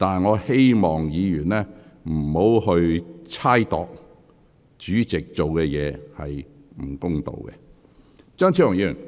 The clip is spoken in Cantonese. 我希望議員不要猜測主席處事不公。